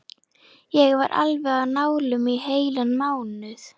Ég var alveg á nálum í heilan mánuð.